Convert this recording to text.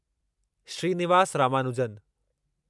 Srinivas Ramanujan